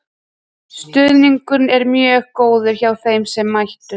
Stuðningurinn var mjög góður hjá þeim sem mættu.